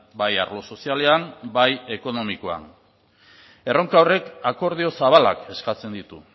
bai arlo sozialean bai ekonomikoan erronka horrek akordio zabalak eskatzen ditu